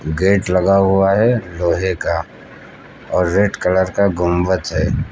Gate लगा हुआ है लोहे का और रेड कलर का गुंबज है।